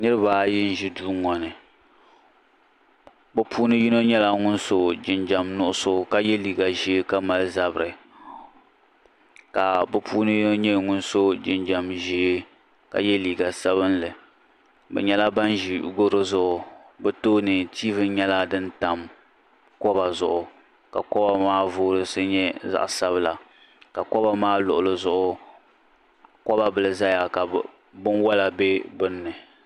Niriba ayi n ʒi duu ŋɔ ni bɛ puuni yino sola jinjiɛm nuɣuso ka ye liiga ʒer ka mali zabiri ka bɛ puuni yino nyɛ ŋun so jinjiɛm ʒee ka ye liiga sabinli bɛ nyɛla ban ʒi goro zuɣu bɛ tooni tiivi nyɛla din tam koba zuɣu ka koba maa voyisi nyɛ zaɣa sabila ka koba maa luɣuli zuɣu koba bihi zaya ka binwola be gbinni.